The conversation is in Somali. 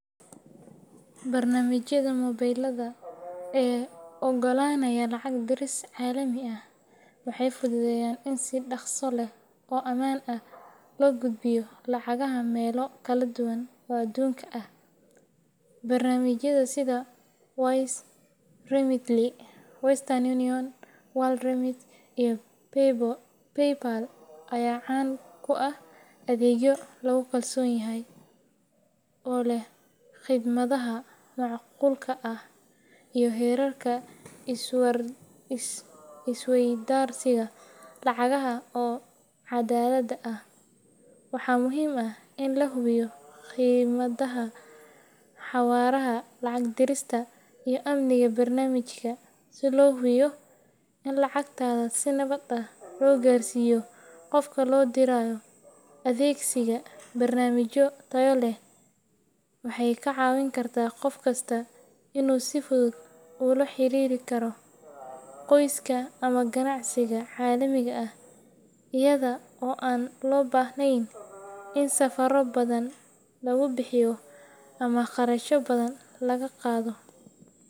Barnaamijyada mobilada ee oggolaanaya lacag diris caalami ah waxay fududeeyaan in si dhakhso leh oo ammaan ah loo gudbiyo lacagaha meelo kala duwan oo adduunka ah. Barnaamijyada sida Wise, Remitly, Western Union, WorldRemit, iyo PayPal ayaa caan ku ah adeegyo lagu kalsoon yahay oo leh khidmadaha macquulka ah iyo heerarka is-weydaarsiga lacagaha oo cadaalad ah. Waxaa muhiim ah in la hubiyo khidmadaha, xawaaraha lacag dirista, iyo amniga barnaamijka si loo hubiyo in lacagtaada si nabad ah loo gaarsiiyo qofka loo dirayo. Adeegsiga barnaamijyo tayo leh waxay ka caawin kartaa qof kasta inuu si fudud ula xiriiri karo qoyska ama ganacsiga caalamiga ah iyada oo aan loo baahnayn in safarro badan lagu bixiyo ama kharashyo badan laga qaado.